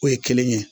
O ye kelen ye